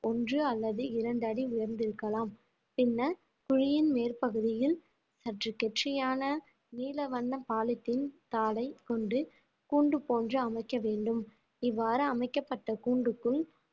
ஒன்று அல்லது இரண்டு அடி உயர்ந்திருக்கலாம் பின்னர் குழியின் மேற்பகுதியில் சற்று குச்சியான நீல வண்ண பாலித்தீன் தாளை கொண்டு கூண்டு போன்று அமைக்க வேண்டும் இவ்வாறு அமைக்கப்பட்ட கூண்டுக்குள்